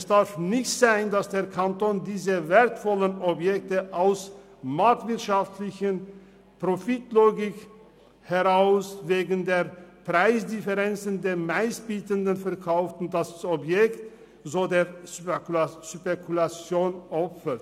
Es darf nicht sein, dass der Kanton diese wertvollen Objekte aus einer marktwirtschaftlichen Profitlogik wegen der Preisdifferenz dem Meistbietenden verkauft und das Objekt so der Spekulation opfert.